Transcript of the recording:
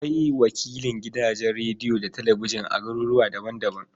Akwai wakilan gidajen rediyo da talabijin a garuruwa daban-daban.